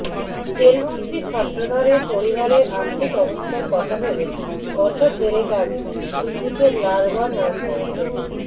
জেলবন্দি ছত্রধরের পরিবারের আর্থিক অবস্থার কথা ভেবে বছর দেড়েক আগে ধৃতিকে লালগড় নার্সিং ট্রেনিং